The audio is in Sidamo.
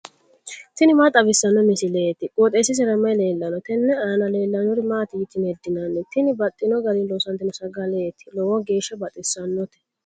tini maa xawissanno misileeti? qooxeessisera may leellanno? tenne aana leellannori maati yitine heddinanni? Tini baxxino garinni loosantino sagaleeti lowo geeshsha baxissannote.